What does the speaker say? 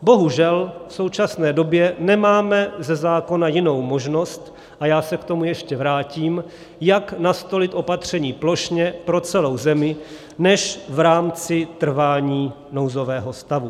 Bohužel v současné době nemáme ze zákona jinou možnost, a já se k tomu ještě vrátím, jak nastolit opatření plošně pro celou zemi, než v rámci trvání nouzového stavu.